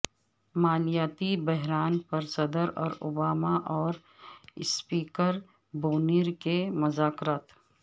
مالیاتی بحران پرصدر اوباما اور اسپیکر بونیر کے مذاکرات